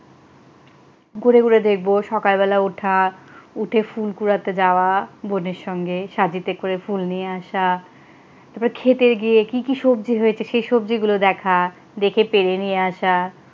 ঘুরে ঘুরে দেখব সকালবেলা ওঠা উঠে ফুল কুড়াতে যাওয়া বোনের সঙ্গে সাজিতে করে ফুল নিয়ে আসা তারপরে ক্ষেতে গিয়ে কি কি সবজি হয়েছে সেই সবজিগুলো দেখা দেখে পেড়ে নিয়ে আসা,